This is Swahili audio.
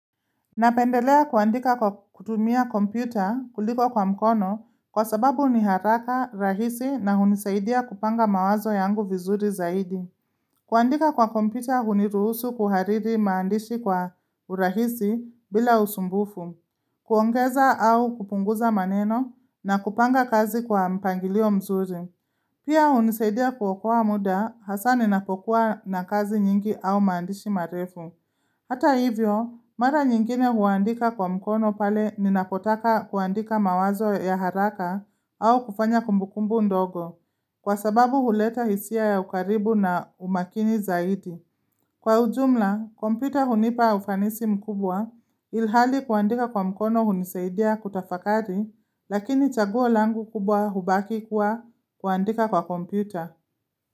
Napendelea kuandika kwa kutumia kompyuta kuliko kwa mkono, kwa sababu ni haraka rahisi, na hunisaidia kupanga mawazo yangu vizuri zaidi. Kuandika kwa kompyuta huniruhusu kuhariri maandishi kwa urahisi bila usumbufu. Kuongeza au kupunguza maneno na kupanga kazi kwa mpangilio mzuri. Pia hunisaidia kuokoa muda hasa ninapokuwa na kazi nyingi au maandishi marefu. Hata hivyo, mara nyingine huandika kwa mkono pale ninakotaka kuandika mawazo ya haraka au kufanya kumbukumbu ndogo. Kwa sababu huleta hisia ya ukaribu na umakini zaidi. Kwa ujumla, kompyuta hunipa ufanisi mkubwa, ilhali kuandika kwa mkono hunisaidia kutafakari, lakini chaguo langu kubwa hubaki kuwa kuandika kwa kompyuta.